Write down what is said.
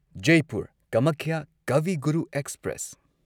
Jaipur Kamakhya Kavi Guru express